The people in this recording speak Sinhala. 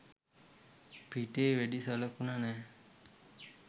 පිටේ වෙඩි සලකුණ නෑ